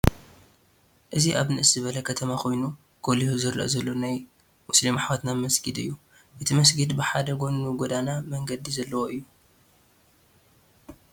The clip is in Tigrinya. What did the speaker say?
እዚ አብ ንእስ ዝበለ ከተማ ኮይኑ ጎሊሁ ዝረአ ዘሎ ናይ ሙስሊም አሕዋትና መስጊድ እዩ፡፡ እቲ መስጊድ ብሓደ ጎኑ ጎደና (መንገዲ) ዘለዎ እዩ፡፡